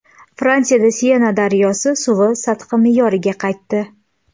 Fransiyada Sena daryosi suvi sathi me’yoriga qaytdi.